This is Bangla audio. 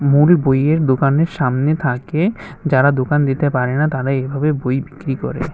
মূল বইয়ের দোকানে সামনে থাকে যারা দোকান দিতে পারে না তারা এইভাবে বই বিক্রি করে।